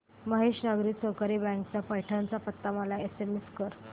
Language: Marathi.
महेश नागरी सहकारी बँक चा पैठण चा पत्ता मला एसएमएस कर